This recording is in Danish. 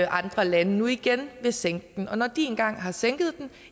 andre lande nu igen vil sænke den og når de engang har sænket den